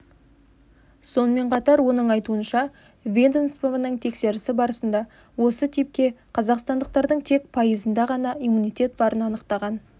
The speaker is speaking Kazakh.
сонымен қатар оның айтуынша ведомствоның тексерісі барысында осы типке қазақстандықтардың тек пайызында ғана иммунитет барын анықтаған